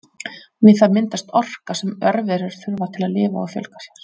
við það myndast orka sem örverur þurfa til að lifa og fjölga sér